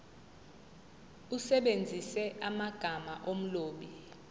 usebenzise amagama omlobi